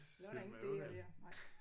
Så er der ingen D'er der nej